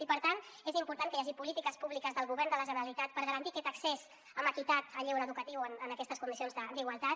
i per tant és important que hi hagi polítiques públiques del govern de la generalitat per garantir aquest accés amb equitat al lleure educatiu en aquestes condicions d’igualtat